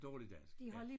Dårlig dansk ja